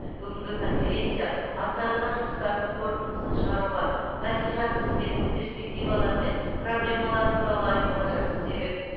бүгінгі конференция атқарылған жұмыстардың қорытындысын шығаруға мәслихат қызметінің перспективалары мен проблемалары туралы айтуға жақсы себеп